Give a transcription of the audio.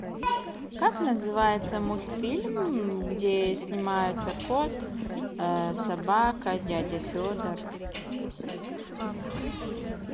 как называется мультфильм где снимается кот собака дядя федор